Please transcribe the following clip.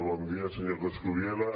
bon dia senyor coscubiela